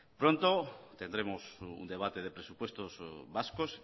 pronto tendremos un debate de presupuestos vascos